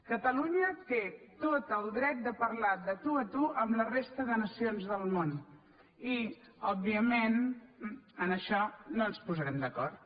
catalunya té tot el dret de parlar de tu a tu amb la resta de nacions del món i òbviament en això no ens posarem d’acord